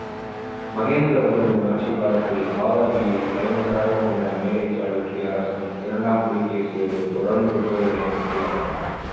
மகேந்திரவர்மனின் ஆட்சிக்காலத்தில் வாதாபியை தலைநகராகக் கொண்ட மேலை சாளுக்கிய அரசன் இரண்டாம் புலிகேசியோடு தொடர்ந்து போர்களை மேற்கொள்ளப்பட்டன